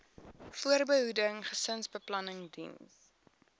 voorbehoeding gesinsbeplanning diens